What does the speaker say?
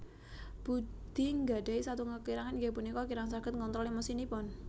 Budi nggadhahi satunggal kekirangan inggih punika kirang saged ngontrol emosinipun